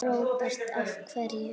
Róbert: Af hverju?